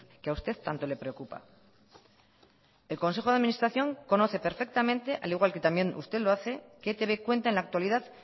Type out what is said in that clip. que a usted tanto le preocupa el consejo de administración conoce perfectamente al igual que también usted lo hace que etb cuenta en la actualidad